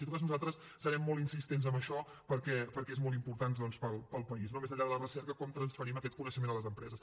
en tot cas nosaltres serem molt insistents amb això perquè és molt important doncs per al país no més enllà de la recerca com transferim aquest coneixement a les empreses